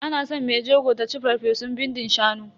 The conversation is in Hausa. Ana san mai jego ta ci farfesun bindin shanu.